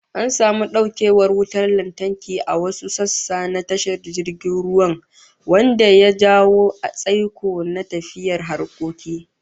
An samu daukewar wutar lantarki a wasu sassa na tashar jirgin ruwan, wanda ya jawo tsaiko na tafiyar harkoki